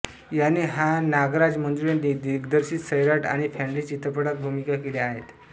याने हा नागराज मंजुळे दिग्दर्शित सैराट आणि फॅंड्री चित्रपटांत भूमिका केल्या आहेत